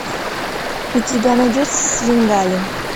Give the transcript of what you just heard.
у тебя найдется свенгали